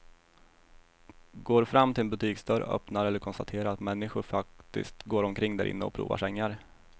Går fram till en butiksdörr, öppnar och konstaterar att människor faktiskt går omkring därinne och provar sängar.